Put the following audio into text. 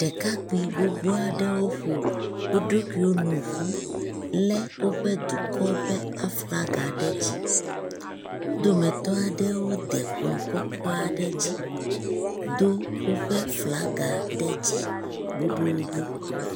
ɖekakpi gbogbó aɖewo ƒo woɖokui nu ƒu le woƒe dukɔ ƒe aflaga ɖe dzi wó dometɔ aɖewo de kplɔ̃ kɔkɔ aɖe dzi dó wóƒe flaga ɖe dzi boboobo